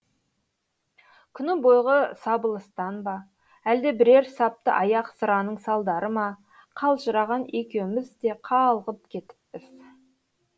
күні бойғы сабылыстан ба әлде бірер саптыаяқ сыраның салдары ма қалжыраған екеуміз де қалғып кетіппіз